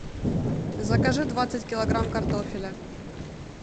закажи двадцать килограмм картофеля